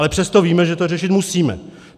Ale přesto víme, že to řešit musíme.